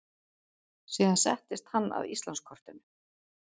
Síðan settist hann að Íslandskortinu.